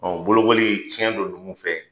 Ɔ bolobɔli tiɲɛ don duguw fɛ.